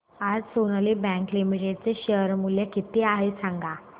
आज Sonali bank limited चे share मूल्य किती आहे सांगा